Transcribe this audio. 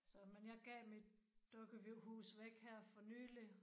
Så men jeg gav mit dukkehus væk her for nylig